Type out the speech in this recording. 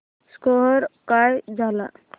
score काय झाला